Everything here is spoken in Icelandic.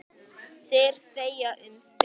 Þeir þegja um stund.